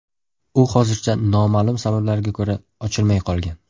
U hozircha noma’lum sabablarga ko‘ra, ochilmay qolgan.